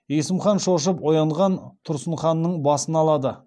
есім хан шошып оянған тұрсын ханның басын алады